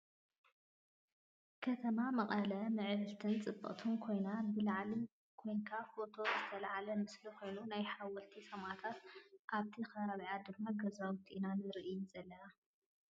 ከተማ መቀለ ምዕብልትን ፅብቅቲን ኮይና ብላዕሊ ኮይንካ ፎቶ ዝተለዓለ ምስሊ ኮይኑ ናይ ሓወልቲ ሰማእታት ኣብቲ ከባቢኣ ድማ ገዛውቲ ኢና ንርሲ ዘለና ።